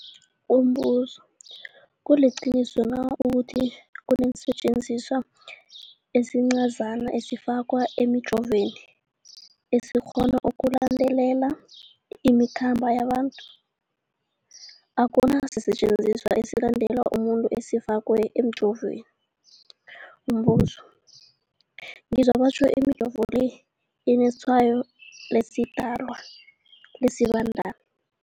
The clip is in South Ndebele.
Umbuzo, kuliqiniso na ukuthi kunesisetjenziswa esincazana esifakwa emijovweni, esikghona ukulandelela imikhambo yabantu? Akuna sisetjenziswa esilandelela umuntu esifakwe emijoveni. Umbuzo, ngizwa batjho imijovo le inetshayo lesiDalwa, lesiBandana